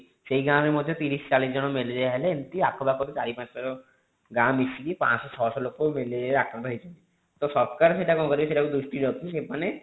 ସେଇ ଗାଁ ରେ ମଧ୍ୟ ତିରିଶ ଚାଳିଶ ଜଣ ମେଲେରୀୟା ହେଲେ ଏମିତି ଆଖ ପାଖର ଚାରି ପାଞ୍ଚଟା ର ଗାଁ ମିସିକି ପାଞ୍ଚ ସହ ଛଅ ସହ ଲୋକ ମେଲେରୀୟା ଆକ୍ରାନ୍ତ ହେଇଛନ୍ତି ତ ସରକାର ସେଇଟା କଣ କରିବେ ସେଇଟା ଦ୍ରୁଷ୍ଟି ରଖି ସେମାନେ